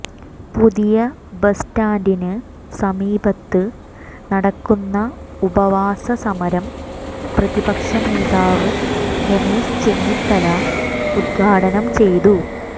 പുതിയ ബസ് സ്റ്റാൻഡിന് സമീപത്ത് നടക്കുന്ന ഉപവാസ സമരം പ്രതിപക്ഷ നേതാവ് രമേശ് ചെന്നിത്തല ഉദ്ഘാടനം ചെയ്തു